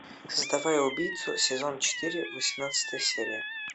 создавая убийцу сезон четыре восемнадцатая серия